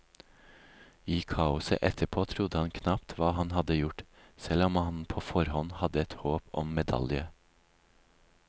I kaoset etterpå trodde han knapt hva han hadde gjort, selv om han på forhånd hadde et håp om medalje.